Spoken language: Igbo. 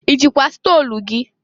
I jikwa stolu gị?